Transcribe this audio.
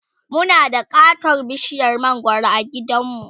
Muna da katon bishiyar mangwaro a gidanmu